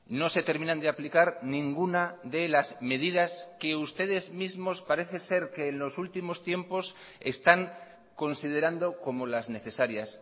no se terminan de aplicar ninguna de las medidas que ustedes mismos parece ser que en los últimos tiempos están considerando como las necesarias